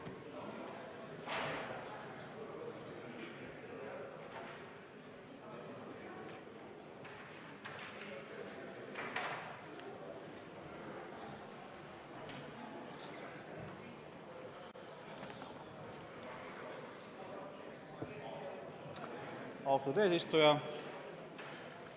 Austatud eesistuja!